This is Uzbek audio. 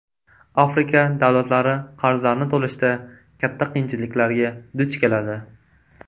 Afrika davlatlari qarzlarni to‘lashda katta qiyinchiliklarga duch keladi.